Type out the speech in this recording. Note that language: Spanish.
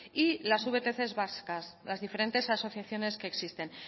y las vtc vascas las diferentes asociaciones que existen